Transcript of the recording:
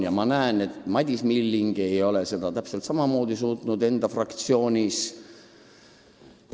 Ja ma näen, et Madis Milling ei ole seda suutnud ka enda fraktsioonis.